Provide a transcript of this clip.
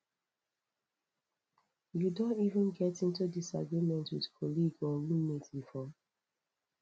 you don ever get into disagreement with colleague or roommate before